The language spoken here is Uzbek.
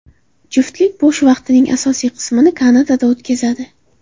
Juftlik bo‘sh vaqtining asosiy qismini Kanadada o‘tkazadi.